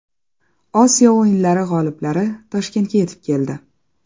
Osiyo o‘yinlari g‘oliblari Toshkentga yetib keldi.